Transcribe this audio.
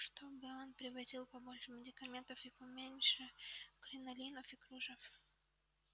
чтобы он привозил побольше медикаментов и поменьше кринолинов и кружев